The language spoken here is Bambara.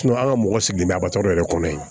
an ka mɔgɔ sigi bɛ a yɛrɛ kɔnɔ yen